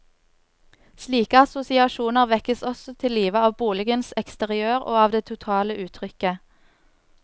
Slike assosiasjoner vekkes også til live av boligens eksteriør og av det totale uttrykket.